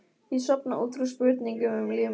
Ég sofna út frá spurningum um líf mitt.